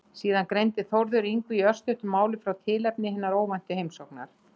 Síðan greindi Þórður Yngvi í örstuttu máli frá tilefni hinnar óvæntu heimsóknar.